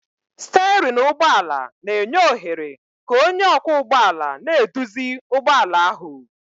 Stéérin ụgbọ ala na-enye ohere ka onye ọkwọ ụgbọala na-eduzi ụgbọ ala ahu